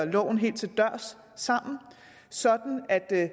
loven helt til dørs sammen sådan at der